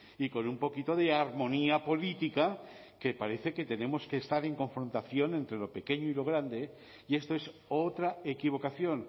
y con un poquito de armonía política que parece que tenemos que estar en confrontación entre lo pequeño y lo grande y esto es otra equivocación